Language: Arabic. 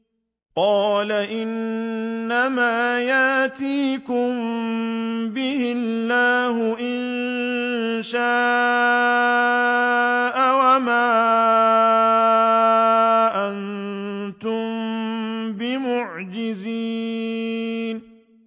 قَالَ إِنَّمَا يَأْتِيكُم بِهِ اللَّهُ إِن شَاءَ وَمَا أَنتُم بِمُعْجِزِينَ